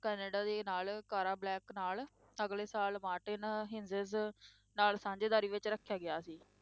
Canada ਦੇ ਨਾਲ Cara Black ਨਾਲ, ਅਗਲੇ ਸਾਲ ਮਾਰਟਿਨ ਹਿੰਜਿਸ ਨਾਲ ਸਾਂਝੇਦਾਰੀ ਵਿੱਚ ਰੱਖਿਆ ਗਿਆ ਸੀ।